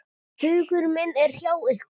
Hugur minn er hjá ykkur.